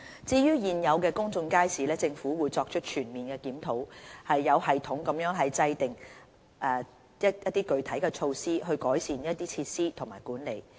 至於現有的公眾街市，政府會作出全面檢討，有系統地制訂具體措施以改善設施和管理。